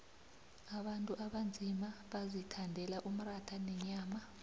abantu abanzima bazithandela umratha nenyama